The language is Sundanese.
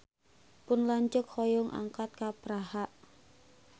Pun lanceuk hoyong angkat ka Praha